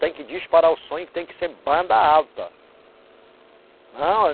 Tem que disparar o som e tem que ser banda alta. Não